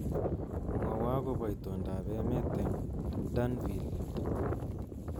Mwowo akobo itondoab emet eng Danvile Il